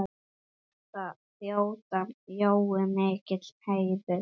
Þetta þótti Jóa mikill heiður.